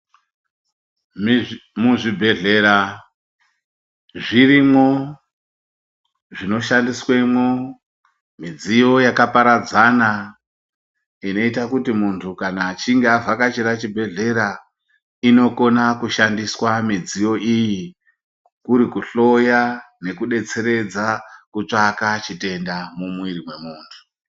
Muzvibhedhlera zvirimwo zvinoshandiswemwo, midziyo yakaparadzana, inoyita kuti kana muntu achinge avhakachira chibhedhlera, inokona kushandiswa midziyo iyi, kuri kuhloya nekudetseredza kutsvaka chitenda mumwiri mwemuntu.